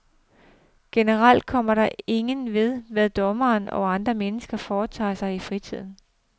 Generelt kommer det ingen ved, hvad dommere og andre mennesker foretager sig i fritiden.